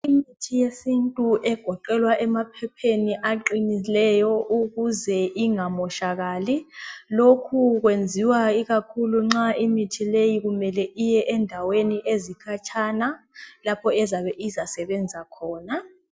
Imithi yesintu egoqelwa emaphepheni aqinileyo ukuze ingamoshakali .Lokhu kwenziwa ikakhulu nxa imithi leyi kumele iye endaweni ezikhatshana lapho ezabe izasebenza khona.